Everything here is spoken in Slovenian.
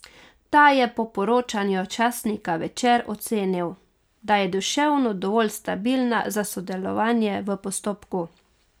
Ta je po poročanju časnika Večer ocenil, da je duševno dovolj stabilna za sodelovanje v postopku.